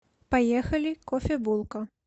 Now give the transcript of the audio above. поехали кофебулка